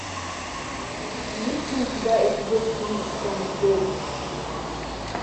есть ли у тебя эпизод три том и джерри